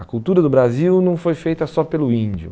A cultura do Brasil não foi feita só pelo índio.